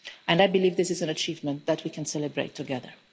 I believe this is an achievement that we can celebrate together.